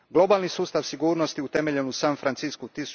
Globalni sustav sigurnosti utemeljen u San Francisku